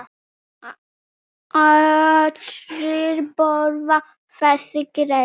Allir borða þessi grey.